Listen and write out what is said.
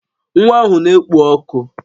Nwa ahụ na-ekpo ọkụ